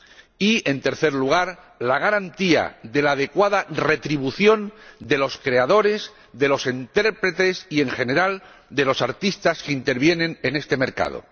y, en tercer lugar, la garantía de la adecuada retribución de los creadores, de los intérpretes y, en general, de los artistas que intervienen en este mercado.